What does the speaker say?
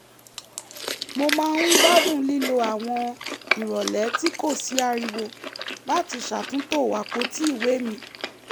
mo máa ń gbádùn lílo àwọn ìrọ̀lẹ́ tí kò sí ariwo láti ṣàtúntò àpótí ìwé mi